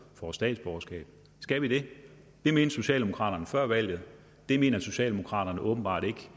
får statsborgerskab skal vi det det mente socialdemokraterne før valget det mener socialdemokraterne åbenbart ikke